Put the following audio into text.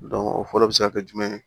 o fɔlɔ bɛ se ka kɛ jumɛn ye